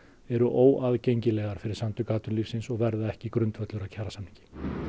eru óaðgengilegar fyrir Samtök atvinnulífsins og verða ekki grundvöllur kjarasamnings